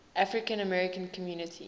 african american community